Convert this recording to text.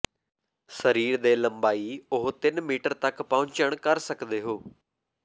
ਸਰੀਰ ਦੇ ਲੰਬਾਈ ਉਹ ਤਿੰਨ ਮੀਟਰ ਤੱਕ ਪਹੁੰਚਣ ਕਰ ਸਕਦੇ ਹੋ